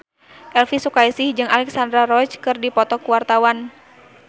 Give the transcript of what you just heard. Elvi Sukaesih jeung Alexandra Roach keur dipoto ku wartawan